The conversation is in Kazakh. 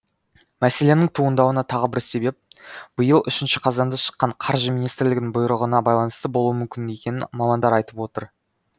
мәселенің туындауына тағы бір себеп биыл үшінші қазанда шыққан қаржы министрлігінің бұйрығына байланысты болуы мүмкін екенін мамандар айтып отыр